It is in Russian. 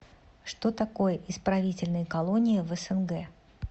что такое исправительные колонии в снг